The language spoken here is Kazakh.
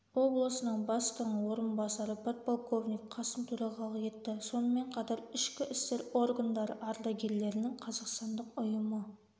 облысының бастығының орынбасары подполковник қасым төрағалық етті сонымен қатар ішкі істер органдары ардагерлерінің қазақстандық ұйымы